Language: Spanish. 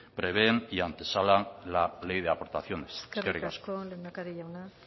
prevén y antesala la ley de aportaciones eskerrik asko eskerrik asko lehendakaria jauna